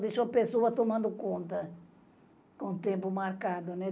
Deixou a pessoa tomando conta com o tempo marcado, né.